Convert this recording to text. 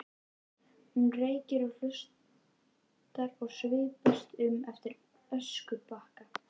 Hún reykir og hlustar og svipast um eftir öskubakka.